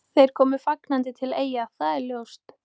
Þeir koma fagnandi til Eyja, það er ljóst.